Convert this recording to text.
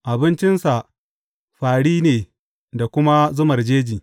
Abincinsa fāri ne da kuma zumar jeji.